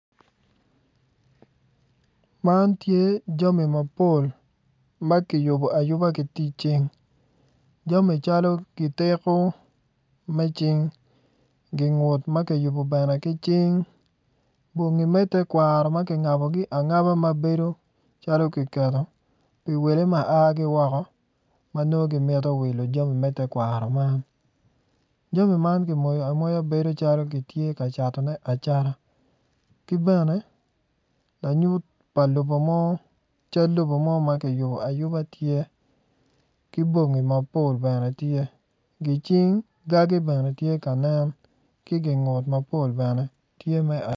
Man tye jami mapol ma ki yubu ayuba ki tic cing jami calo gitiko me cing gingut ma kiyubo bene ki cing bongi me tekwaro ma ki ngabogi angaba mabedo calo giketo pi wele ma a ki woko ma nongo gimito wilo jami me tekwaro man jami gimoyo amoya bedo calo gitye ka catone acata ki bene lanyut pa lobo mo cal lobo mo ma kiyubo ayuba ma tye ki bongi mapol bene tye gicing gagi bene tye ka nen ki gingut mapol bene tye me